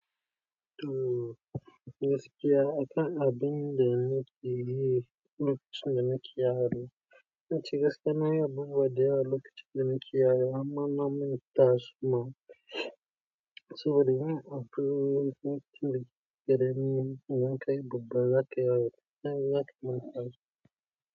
To gaskiya akan abin da ne ke yi, lokacin da nake yaro. Zance gaskiya, na yi abubuwa da yawa lokacin da nake yaro amma na manta suma. Saboda yin abu lokacin da muke karami, amma in kai babba, zaka yawo, kai zaka manta shi.